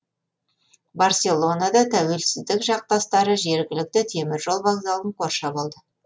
барселонада тәуелсіздік жақтастары жергілікті теміржол вокзалын қоршап алды